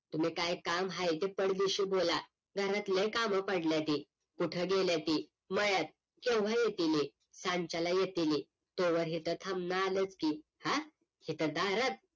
तुम्ही काय काम आहे ते पट दिशी बोला घरात लई काम पडले की कुठे गेले ती मळ्यात केव्हा येतील हे सांच्याला येतील हे तेव्हा हे काय थांबणार हेत की हा इथ दारात